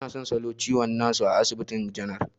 Ina son salo ciwon gwajin na su a asibitin janar.